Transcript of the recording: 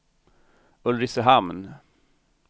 Ulricehamn